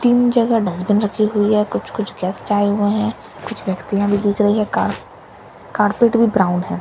तीन जगह डस्टबिन रखी हुई है कुछ कुछ गेस्ट आए हुए हैं कुछ व्यक्तिया भी दिख रही है का कार्पेट भी ब्राउन हैं।